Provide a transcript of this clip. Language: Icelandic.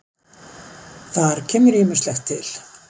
Þar kemur ýmislegt til.